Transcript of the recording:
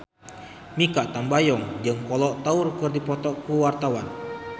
Mikha Tambayong jeung Kolo Taure keur dipoto ku wartawan